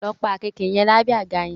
Lọ pa àkekèé yẹn lábẹ́ àga yẹn!